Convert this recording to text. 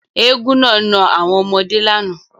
Éégún naa na àwọn ọmọde làná.